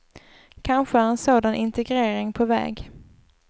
Kanske är en sådan integrering på väg.